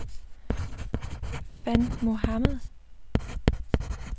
Van Mohamad